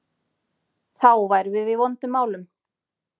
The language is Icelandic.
Þá værum við í vondum málum.